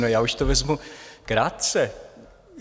No, já už to vezmu krátce.